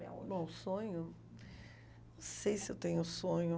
É. Bom, o sonho... Não sei se eu tenho um sonho.